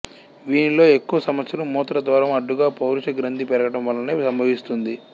వీనిలో ఎక్కువ సమస్యలు మూత్రద్వారము అడ్డుగా పౌరుష గ్రంథి పెరగడం వలననే సంభవిస్తుంది